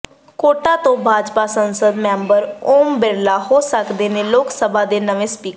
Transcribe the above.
quota ਤੋਂ ਭਾਜਪਾ ਸੰਸਦ member Om Birla ਹੋ ਸਕਦੇ ਨੇ ਲੋਕ ਸਭਾ ਦੇ ਨਵੇਂ ਸਪੀਕਰ